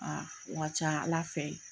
Aa o ka ca ala fɛ yen